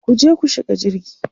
kuje ku shiga jirgi!